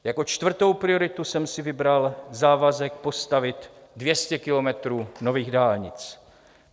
Jako čtvrtou prioritu jsem si vybral závazek postavit 200 kilometrů nových dálnic.